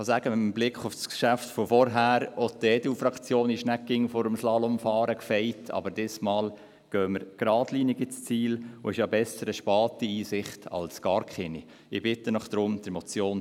Ich kann, mit Blick auf das Geschäft von vorhin, sagen: Auch die EDU-Fraktion ist vor dem Slalomfahren nicht immer gefeit, aber diesmal gehen wir geradlinig ins Ziel, und eine späte Einsicht ist ja besser als gar keine.